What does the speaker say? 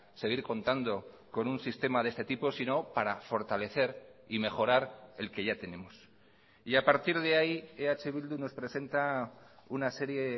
seguir contando con un sistema de este tipo sino para fortalecer y mejorar el que ya tenemos y a partir de ahí eh bildu nos presenta una serie